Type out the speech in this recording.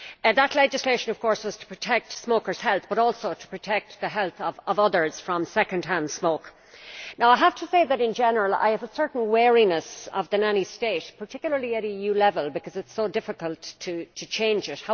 That legislation of course was to protect smokers' health, but also to protect the health of others from second hand smoke. I have to say that in general I have a certain wariness of the nanny state particularly at EU level, because it is so difficult to change it.